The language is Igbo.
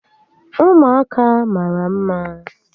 Ụmụaka mara mma